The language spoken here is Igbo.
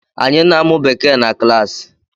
Anyị na-amụ Bekee na klaasi.